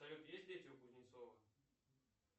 салют есть дети у кузнецова